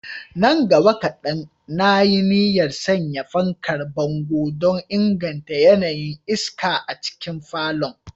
Nan gaba kadan, na yi niyyar sanya fankar bango don inganta yanayin iska a cikin falon.